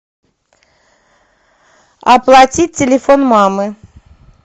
оплатить телефон мамы